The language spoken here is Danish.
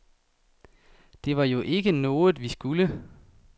Det var jo ikke noget, vi skulle.